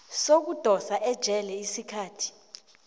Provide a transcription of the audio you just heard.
sokudosa ejele isikhathi